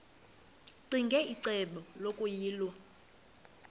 ccinge icebo lokuyilwa